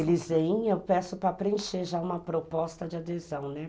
Eles vêm e eu peço para preencher já uma proposta de adesão, né?